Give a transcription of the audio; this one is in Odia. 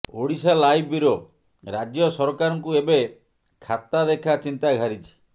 ଓଡ଼ିଶାଲାଇଭ୍ ବ୍ୟୁରୋ ରାଜ୍ୟ ସରକାରଙ୍କୁ ଏବେ ଖାତାଦେଖା ଚିନ୍ତା ଘାରିଛି